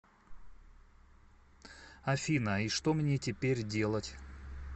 афина и что мне теперь делать